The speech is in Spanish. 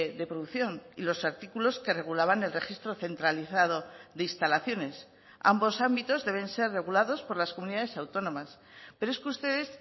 de producción y los artículos que regulaban el registro centralizado de instalaciones ambos ámbitos deben ser regulados por las comunidades autónomas pero es que ustedes